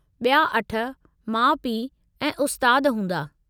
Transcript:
ॿिया अठ माउ पीउ ऐं उस्ताद हूंदा।